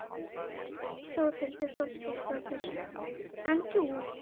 Þórhildur Þorkelsdóttir: En þú?